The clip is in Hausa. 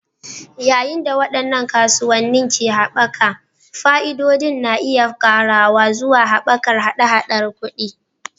Yayin da waɗannan kasuwanni ke haɓaka, fa'idodin na iya ƙarawa zuwa haɓakar haɗa-haɗar kuɗi.